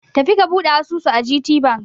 Tafi ka buɗe asusu a GTBank!